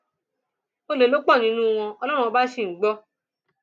olè ló pọ nínú wọn ọlọrun ọba ṣì ń gbọ